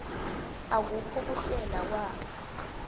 akukho kuhlela kwakha